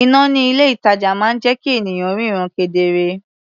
Iná ní ilé-ìtàjà máa ń jẹ́ kí ènìyàn ríran kedere.